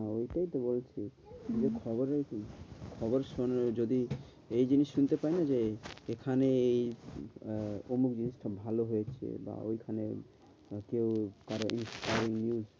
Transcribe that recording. হ্যাঁ ঐটাই তো বলছি হম যে খবরের খবর যদি এই জিনিস শুনতে পাইনা যে এখানে এই আহ অমুক জিনিসটা ভালো হয়েছে বা ঐখানে কেউ news